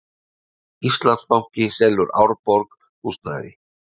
Íslandsbanki selur Árborg húsnæði